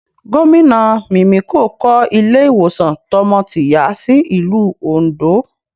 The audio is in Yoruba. Gomina Mimiko kọ́ ilé ìwòsàn tọmọ-tìyá sí ìlú Ondo